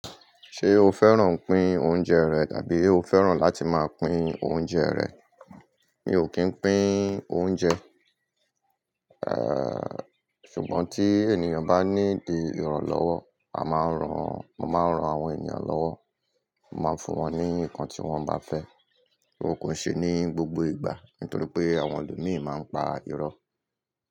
Ṣé o fẹ́ràn pín oúnjẹ rẹ̀ tàbí o fẹ́ràn láti máa pín oúnjẹ rẹ̀? Mi ò kín pín oúnjẹ, eh, ṣùgbọ́n tí ènìyàn bá ní di ìrànlọ́wọ́, a máa ń ran, mo máa ń ran àwọn ènìyàn lọ́wọ́. Mo máa ń fún wọn ní nǹkan tí wọ́n bá fẹ́. Ó kò ṣe ní gbogbo ìgbà, nítorí pé àwọn ẹlòmíràn máa ń pa irọ́